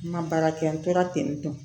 N ka baara kɛ n tora ten